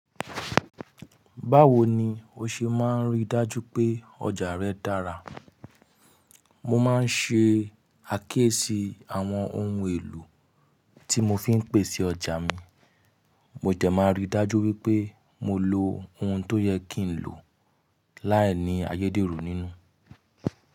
Báwo ni o ṣe máa n rí dájú pé ọjà rẹ dára? Mo máa ń ṣe àkíyèsí àwọn ohun èlò tí mo fi ń pèsè ọjà mi. Mo dẹ máa rí dájú wípé mo lo ohun tó yẹ kí n lo láìní ayédèrú nínú.